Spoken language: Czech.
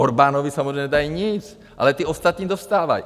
Orbánovi samozřejmě nedají nic, ale ty ostatní dostávají;